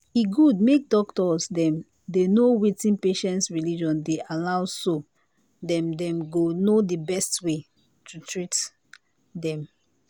e good make doctors dem dey know wetin patients religion dey allow so them them go know the best way to at ten d to them